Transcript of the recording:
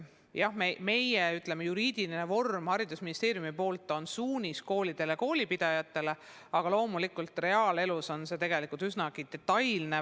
Jah, meie, ütleme, juriidiline vorm Haridus- ja Teadusministeeriumi poolt on suunis koolidele ja koolipidajatele, aga loomulikult reaalelus on küsimused tegelikult üsnagi detailsed.